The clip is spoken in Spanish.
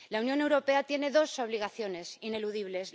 La Unión Europea tiene dos obligaciones ineludibles.